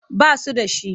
Ba su da shi.